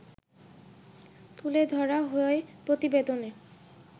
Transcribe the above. তুলে ধরা হয় প্রতিবেদনে